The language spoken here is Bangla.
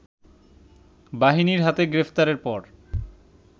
বাহিনীর হাতে গ্রেফতারের পর